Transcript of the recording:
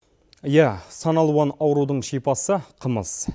иә сан алуан аурудың шипасы қымыз